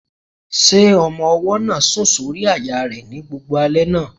Ṣé ọmọ-ọwọ́ náà sùn sórí àyà rẹ ní gbogbo alẹ́ náà?